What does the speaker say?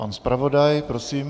Pan zpravodaj, prosím.